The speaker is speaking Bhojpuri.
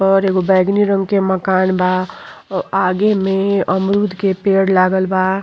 पर एगो बैगनी रंग के मकान बा अ आगे में अमरूद के पेड़ लागल बा।